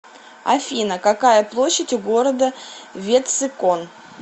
афина какая площадь у города ветцикон